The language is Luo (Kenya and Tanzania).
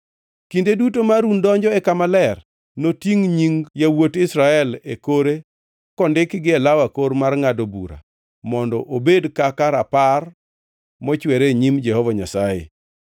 “Kinde duto ma Harun donjo e Kama Ler, notingʼ nying yawuot Israel e kore kondikgi e law akor mar ngʼado bura mondo obed kaka Rapar mochwere e nyim Jehova Nyasaye.